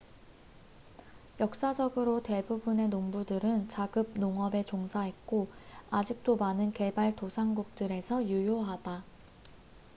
역사적으로 대부분의 농부들은 자급 농업에 종사했고 아직도 많은 개발도상국들에서 유효하다